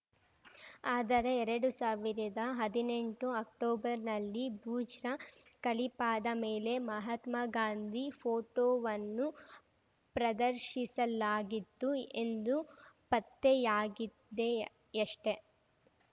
ಆದರೆ ಎರಡು ಸಾವಿರದ ಹದಿನೆಂಟರ ಅಕ್ಟೋಬರ್‌ನಲ್ಲಿ ಬುರ್ಜ್ನ ಖಲೀಫಾದ ಮೇಲೆ ಮಹಾತ್ಮ ಗಾಂಧಿ ಫೋಟೋವನ್ನು ಪ್ರದರ್ಶಿಸಲಾಗಿತ್ತು ಎಂದು ಪತ್ತೆಯಾಗಿದೆಯಷ್ಟೆ